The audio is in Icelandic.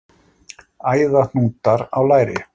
Æðahnútar á læri.